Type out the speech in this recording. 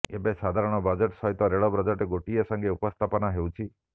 ଏବେ ସାଧାରଣ ବଜେଟ୍ ସହିତ ରେଳ ବଜେଟ୍ ଗୋଟିଏ ସଙ୍ଗେ ଉପସ୍ଥାପନ ହେଉଛି